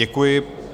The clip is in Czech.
Děkuji.